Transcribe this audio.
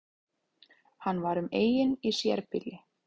Hann var um eign í sérbýli